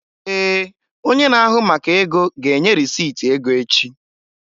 Ee, onye na-ahụ maka ego ga-enye rịsịtị ego echi.